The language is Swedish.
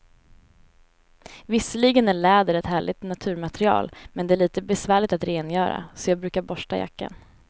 Visserligen är läder ett härligt naturmaterial, men det är lite besvärligt att rengöra, så jag brukar borsta jackan.